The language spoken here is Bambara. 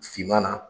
Finman na